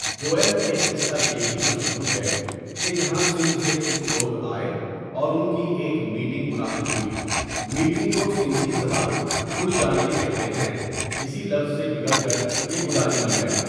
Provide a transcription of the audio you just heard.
دوئم ایک قصہ یہ بھی مشہور ھے کہ یہاں سندھ سے کچھ لوگ آۓ اور اُن کی ایک میٹنگ منعقد ہوئی میٹنگ کو سندھی زبان گڈجانڑی کہتے ھیں اسی لفظ سے بگڑ کر یہ گڈانی بن گیا.